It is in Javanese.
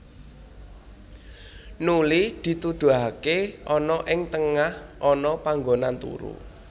Nuli dituduhaké ana ing tengah ana panggonan turu